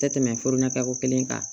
Tɛ tɛmɛ furu natako kelen kan